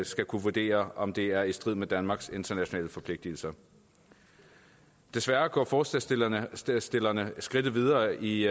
skal kunne vurdere om det er i strid med danmarks internationale forpligtelser desværre går forslagsstillerne forslagsstillerne skridtet videre i